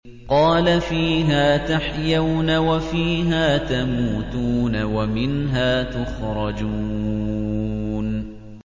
قَالَ فِيهَا تَحْيَوْنَ وَفِيهَا تَمُوتُونَ وَمِنْهَا تُخْرَجُونَ